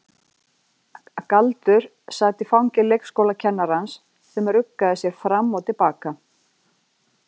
Galdur sat í fangi leikskólakennarans sem ruggaði sér fram og til baka.